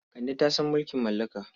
Kande ta san mulkin mallaka.